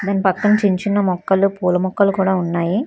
పక్కన చిన్న చిన్న మొక్కలు పూల మొక్కలు కూడా ఉన్నాయి.